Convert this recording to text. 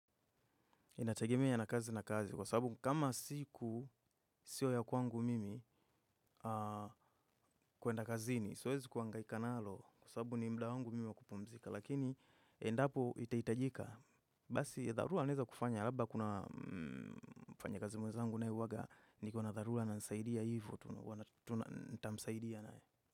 Inategemea na kazi na kazi kwa sababu kama siku sio ya kwangu mimi kuenda kazini siwezi kuhangaika nalo kwa sababu ni muda wangu mimi wa kupumzika lakini endapo itaitajika. Basi ya dharura naeza kufanya labda kuna mfanyakazi mwezangu naye uwaga niko na dharura anasaidia hivo nitamsaidia naye.